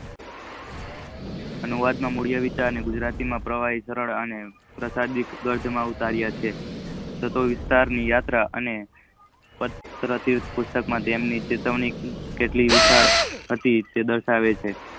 અનુવાદ માં મૂલ્ય વિચાર ગુજરાતી માં પ્રવહી વિતરણ અને પ્રસારિત ગરથ માં અવતરીઓ છે. ચાટો વિસ્તાર યાત્રા આ પાત્ર પુસ્તક તેમને ચેતવણી કેટલી વિશાલ હતી તે દશાવે છે